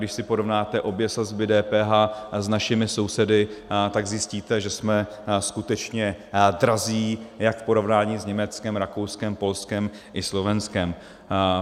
Když si porovnáte obě sazby DPH s našimi sousedy, tak zjistíte, že jsme skutečně drazí jak v porovnání s Německem, Rakouskem, Polskem i Slovenskem.